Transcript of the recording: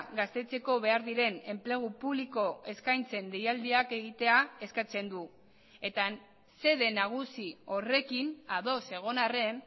gaztetzeko behar diren enplegu publiko eskaintzen deialdiak egitea eskatzen du eta xede nagusi horrekin ados egon arren